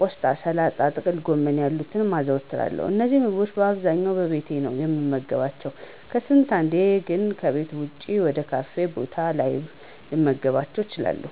ቆስጣ፣ ሰላጣ፣ ጥቅልጎመን ያሉትን አዘወትራለሁ። እነዚህንም ምግቦች በአብዛኛው በቤቴ ነው የምመገባቸው፤ ከስንት አንዴ ግን ከቤት ወጭ ወይም ካፌ ቦታዎች ላይ ልመገባቸው እችላለሁ።